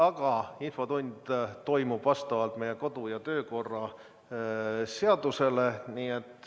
Aga infotund toimub vastavalt meie kodu- ja töökorra seadusele.